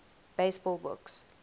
baseball books